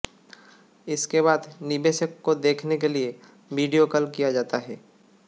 इसके बाद निवेशक को देखने के लिए वीडियो कॉल किया जाता है